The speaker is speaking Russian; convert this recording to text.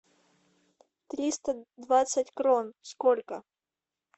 триста двадцать крон сколько